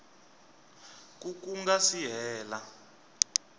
ku ku nga si hela